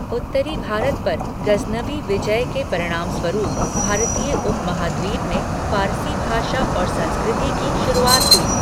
उत्तरी भारत पर गज़नवी विजय के परिणामस्वरूप भारतीय उपमहाद्वीप में फ़ारसी भाषा और संस्कृति की शुरुआत हुई।